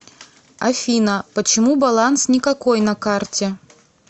афина почему баланс никакой на карте